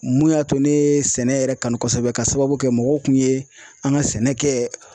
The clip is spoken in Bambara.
Mun y'a to ne ye sɛnɛ yɛrɛ kanu kosɛbɛ k'a sababu kɛ mɔgɔw kun ye an ka sɛnɛ kɛ